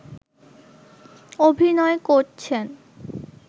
অভিনয় করছেন